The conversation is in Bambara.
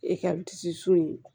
E ka tisi so in